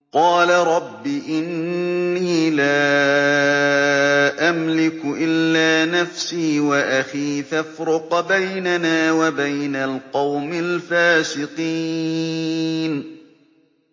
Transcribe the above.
قَالَ رَبِّ إِنِّي لَا أَمْلِكُ إِلَّا نَفْسِي وَأَخِي ۖ فَافْرُقْ بَيْنَنَا وَبَيْنَ الْقَوْمِ الْفَاسِقِينَ